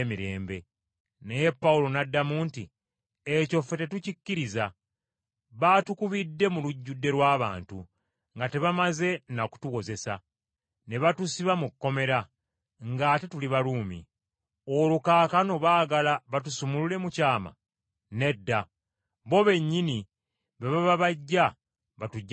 Naye Pawulo n’addamu nti, “Ekyo ffe tetukikkiriza! Baatukubidde mu lujjudde lw’abantu nga tebamaze na kutuwozesa, ne batusiba mu kkomera, ng’ate tuli Baruumi! Olwo kaakano baagala batusumulule mu kyama? Nedda! Bo bennyini be baba bajja batuggye mu kkomera!”